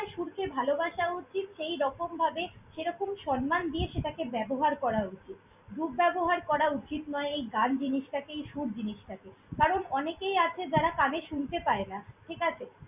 ~সুরকে ভালোবাসা উচিত সেইরকমভাবে সেরকম সন্মান দিয়ে সেটাকে ব্যবহার করা উচিত। দুর্ব্যবহার করা উচিত নয় এই গান জিনিসটা কে, এই সুর জিনিসটা কে। কারণ অনেকএই আছে যারা কানে শুনতে পায় না, ঠিক আছে।